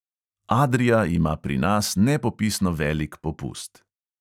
Adria ima pri nas nepopisno velik popust.